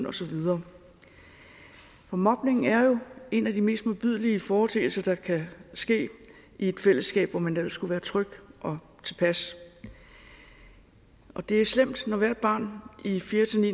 og så videre mobning er jo en af de mest modbydelige foreteelser der kan ske i et fællesskab hvor man ellers skulle være tryg og tilpas og det er slemt når hvert barn i fjerde